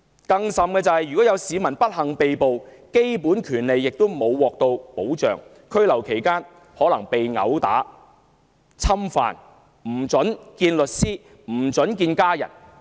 更有甚者，市民如不幸被捕，基本權利不獲保障，在拘留期間可能被毆打、侵犯或不獲准會見律師或家人。